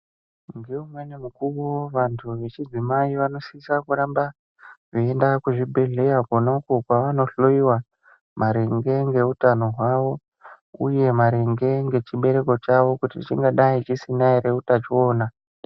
Ngeumweni mukuwo vantu vechidzimai vanosisa kuramba, veienda kuzvibhedhleya kwokakwo kwavanohloiwa maringe ngeutano hwavo ,uye maringe ngechibereko chavo, kuti chingadai chisina ere utachiona.